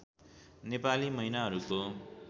Nepali महिनाहरूको